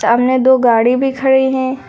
सामने दो गाड़ी भी खड़े हैं।